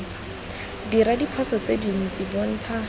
dira diphoso tse dintsi bontsha